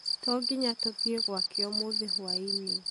tonginya tũthiĩ gwake ũmũthĩ hwainĩ